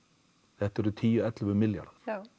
þetta eru tíu til ellefu milljarðar